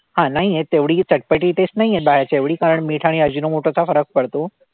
हा नाहीये तेवढी चटपटी taste नाहीये बाहेरच्या एवढी कारण मीठ आणि अजिनोमोटोचा फरक पडतो.